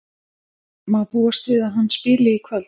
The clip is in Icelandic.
Má búast við að hann spili í kvöld?